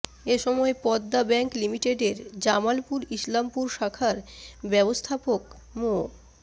এ সময় পদ্মা ব্যাংক লিমিটেডের জামালপুর ইসলামপুর শাখার ব্যবস্থাপক মো